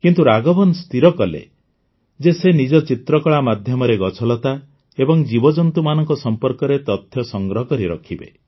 କିନ୍ତୁ ରାଘବନ୍ ସ୍ଥିର କଲେ ଯେ ସେ ନିଜ ଚିତ୍ରକଳା ମାଧ୍ୟମରେ ଗଛଲତା ଏବଂ ଜୀବଜନ୍ତୁମାନଙ୍କ ସମ୍ପର୍କରେ ତଥ୍ୟ ସଂଗ୍ରହ କରି ରଖିବେ